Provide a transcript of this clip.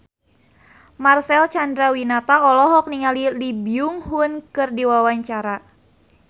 Marcel Chandrawinata olohok ningali Lee Byung Hun keur diwawancara